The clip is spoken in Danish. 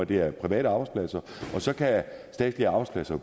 det er private arbejdspladser og så kan statslige arbejdspladser